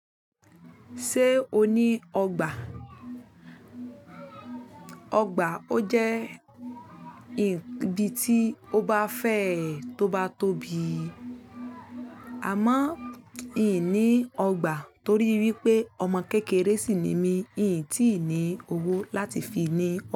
Ṣé o ní ọgbà? Ọgbà, ó jẹ́ ibi tí o bá fẹ́ tó bá tóbi. Àmọ́, ì ní ọgbà torí wípé ọmọ kékeré sì ni mí, ì tíì ní owó láti fi ní ọgbà.